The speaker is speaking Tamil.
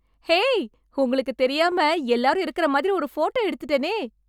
ஹே... உங்களுக்கு தெரியாம, எல்லாரும் இருக்கற மாதிரி, ஒரு ஃபோட்டோ எடுத்துட்டேனே...